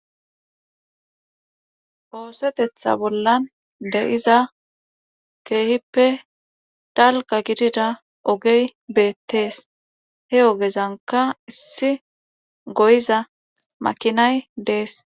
Osetetha bolla de7iza keehippe dalgga gidida ogey beettees he ogezankka issi goyiza makinay dees.